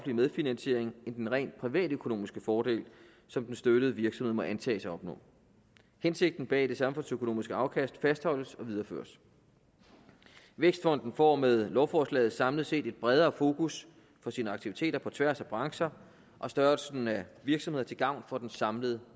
medfinansiering end den rent privatøkonomiske fordel som den støttede virksomhed må antages at opnå hensigten bag det samfundsøkonomiske afkast fastholdes og videreføres vækstfonden får med lovforslaget samlet set at bredere fokus for sine aktiviteter på tværs af brancher og størrelsen af virksomheder til gavn for den samlede